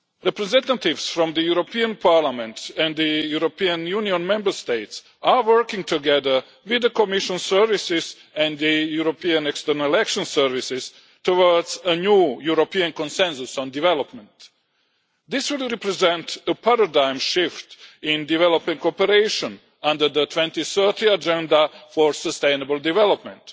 Representatives from this Parliament and the European Union Member States are working together with the Commission services and the European External Action Services towards a new European Consensus on Development. This would represent a paradigm shift in development cooperation under the 2030 Agenda for Sustainable Development